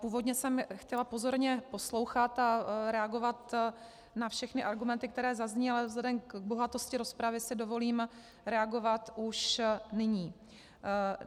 Původně jsem chtěla pozorně poslouchat a reagovat na všechny argumenty, které zazněly, ale vzhledem k bohatosti rozpravy si dovolím reagovat už nyní.